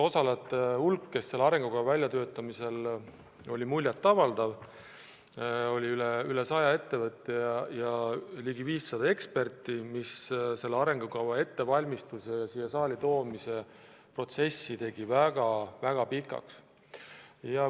Osalejate hulk, kes selle arengukava väljatöötamisel osalesid, oli muljetavaldav: oli üle 100 ettevõtte ja ligi 500 eksperti, mis tegi selle arengukava ettevalmistamise, siia saali toomise protsessi väga pikaks.